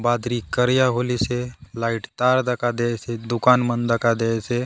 बादरी करिया होलीसे लाईट तार दखा देयसे दुकान मन दखा देयसे।